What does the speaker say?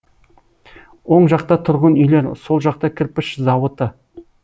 оң жақта тұрғын үйлер сол жақта кірпіш эауыты